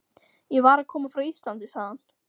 Ég var að koma frá Íslandi, sagði hann.